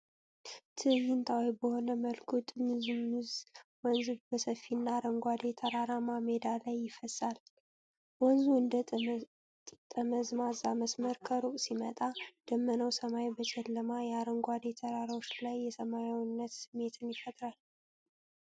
ትዕይንታዊ በሆነ መልኩ፣ ጥምዝምዝ ወንዝ በሰፊና አረንጓዴ ተራራማ ሜዳ ላይ ይፈሳል። ወንዙ እንደ ጠመዝማዛ መስመር ከሩቅ ሲመጣ፣ ደመናማው ሰማይ በጨለማ የአረንጓዴ ተራራዎች ላይ የሰላማዊነት ስሜትን ይፈጥራል።